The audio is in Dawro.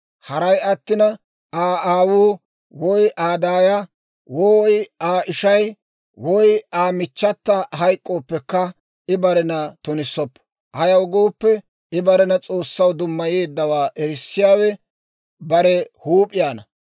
Haray attina Aa aawuu, woy Aa daaya, woy Aa ishay, woy Aa michchata hayk'k'ooppekka, I barena tunissoppo. Ayaw gooppe, I barena S'oossaw dummayeeddawaa erissiyaawe bare huup'iyaana.